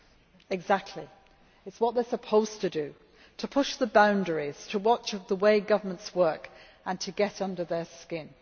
That exactly is what they are supposed to do to push the boundaries, to watch over the way governments work and to get under their skin.